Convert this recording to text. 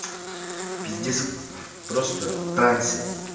пиздец просто в трансе